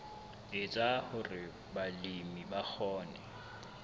etsa hore balemi ba kgone